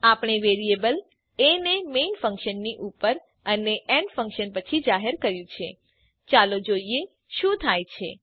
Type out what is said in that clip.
આપણે variable a ને main ફંક્શનની ઉપર અને એડ ફંક્શન પછી જાહેર કર્યું છે ચાલો જોઈએ શું થાય છે